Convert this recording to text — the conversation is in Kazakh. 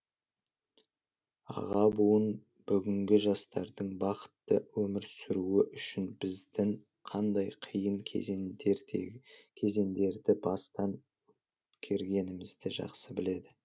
аға буын бүгінгі жастардың бақытты өмір сүруі үшін біздің қандай қиын кезеңдерді бастан кергенімізді жақсы біледі